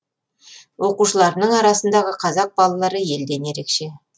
оқушыларымның арасындағы қазақ балалары елден ерекше